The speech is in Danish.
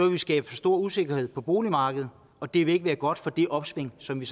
vi skabe for stor usikkerhed på boligmarkedet og det vil ikke være godt for det opsving som vi